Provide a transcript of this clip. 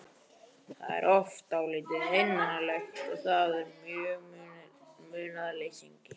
Það er oft dálítið einmanalegt að vera munaðarleysingi.